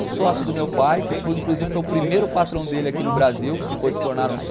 O sócio do meu pai, que foi inclusive foi o primeiro patrão dele aqui no Brasil, depois se tornaram sócios.